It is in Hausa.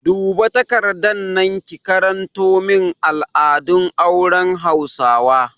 Duba takardar nan ki karanto min al'adun auren hausawa!